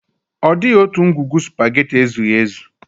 Ọ dịghị otu ngwugwu sụpaghetị ezughi ezu.